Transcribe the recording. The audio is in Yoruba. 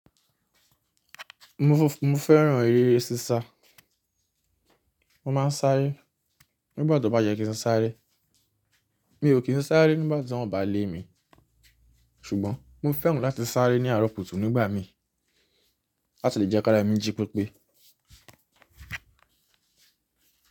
Mo fẹ́ran eré sísá, mo máa ń sáré nígbà tó bá yẹ kí n sáré. Mi ò kí n sáré nígbàtí wọ́n ò bá lé mi, ṣùgbọ́n mo fẹ́ràn láti sáré ní arọ̀ kutú nígbà mi láti lè jẹ́ kára mí jí pípé.